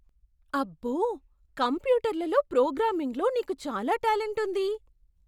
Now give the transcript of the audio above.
అబ్బో! కంప్యూటర్లలో ప్రోగ్రామింగ్లో నీకు చాలా టాలెంట్ ఉంది.